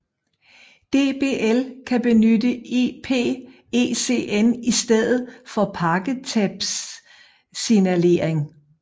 DBL kan benytte IP ECN i stedet for pakketabssignalering